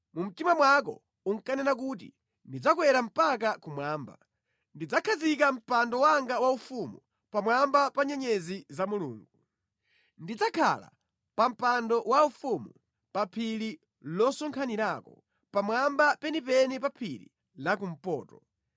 Mu mtima mwako unkanena kuti, “Ndidzakwera mpaka kumwamba; ndidzakhazika mpando wanga waufumu pamwamba pa nyenyezi za Mulungu; ndidzakhala pa mpando waufumu pa phiri losonkhanirako, pamwamba penipeni pa phiri la kumpoto.